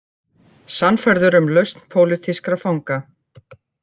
Sannfærður um lausn pólitískra fanga